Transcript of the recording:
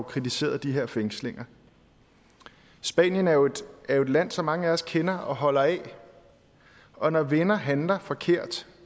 kritiseret de her fængslinger spanien er jo et land som mange af os kender og holder af og når venner handler forkert